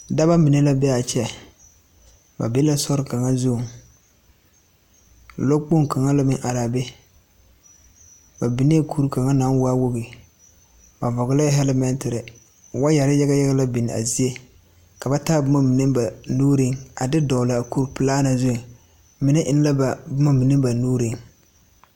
Dɔba mine la be a kyɛ ba be la sori kaŋa zuŋ lɔ kpoŋ kaŋa la meŋ araa be ba bigee kuri kaŋa naŋ waa wogi ba vɔglɛɛ hɛlmɛɛtiri waayɛri yagayaga la biŋ a zie ka ba taa boma mine ba nuuriŋ a fe dɔglaa kuri pilaa me zuiŋ mine eŋ la ba boma mine ba nuuriŋ.